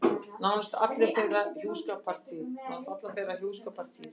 Nánast alla þeirra hjúskapartíð.